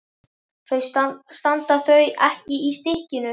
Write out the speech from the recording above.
Standa þau ekki í stykkinu?